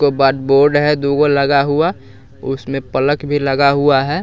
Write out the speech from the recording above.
बाद बोर्ड है दू गो लगा हुआ उसमें प्लक भी लगा हुआ है।